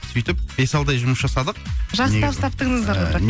сөйтіп бес алты ай жұмыс жасадық